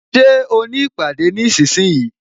Ṣé o ní ìpàdé nísinsìnyí?